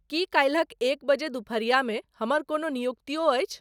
की काल्हिक एक बजे दुपहरिया मे हमर कोनो नियुक्तियों अछि